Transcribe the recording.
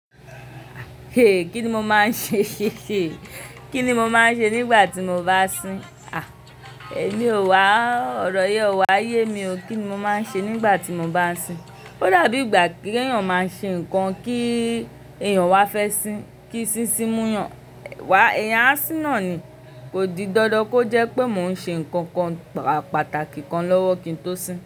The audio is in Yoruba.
Kí ni mo máa ń ṣe? Kí ni mo máa ń ṣe nígbà tí mo bá sin? Àí, èmi ò wá ọ̀rọ̀ yẹn wá yé mi o. Kí ni mo máa ń ṣe nígbà tí mo bá sin? Ó dàbí ìgbà kí èèyàn máa ṣe nǹkan kí èèyàn wá fẹ́ sin, kí sín sín mú yàn. Wá èèyàn á sin naani. Kò di dandan kó jẹ́ pé mò ń ṣe nǹkan kan pàtàkì kan lọ́wọ́ kí n tó sin.